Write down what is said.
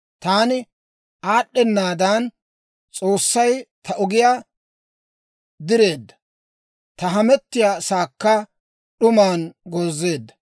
Taani aad'd'enaadan S'oossay ta ogiyaa direedda; ta hamettiyaasaakka d'uman goozeedda.